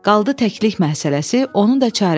Qaldı təklik məsələsi, onun da çarəsi var.